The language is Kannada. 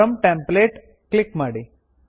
ಫ್ರಾಮ್ ಟೆಂಪ್ಲೇಟ್ ಕ್ಲಿಕ್ ಮಾಡಿ